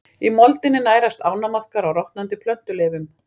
Í moldinni nærast ánamaðkar á rotnandi plöntuleifum.